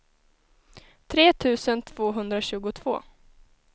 tre tusen tvåhundratjugotvå